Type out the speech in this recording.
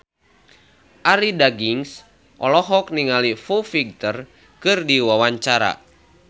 Arie Daginks olohok ningali Foo Fighter keur diwawancara